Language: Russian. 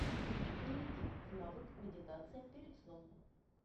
перейди в навык медитация перед сном